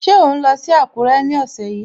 Ṣé ò ń lọ sí Àkúrẹ́ ní ọ̀sẹ̀ yìí?